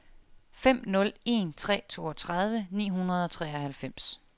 fem nul en tre toogtredive ni hundrede og treoghalvfems